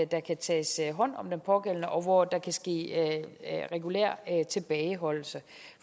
der kan tages hånd om den pågældende og hvor der kan ske regulær tilbageholdelse